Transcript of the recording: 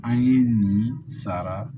An ye nin sara